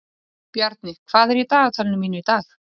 Bjarni, hvað er í dagatalinu mínu í dag?